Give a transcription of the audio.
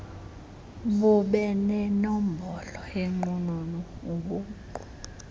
bubenenombolo yenqununu ubuqu